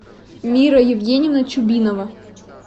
мира евгеньевна чубинова